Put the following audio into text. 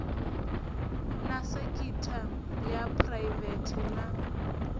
na sekitha ya phuraivete na